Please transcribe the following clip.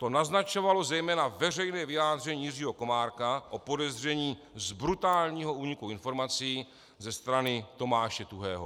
To naznačovalo zejména veřejné vyjádření Jiřího Komárka o podezření z brutálního úniku informací ze strany Tomáše Tuhého.